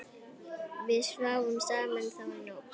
Við sváfum saman þá nótt.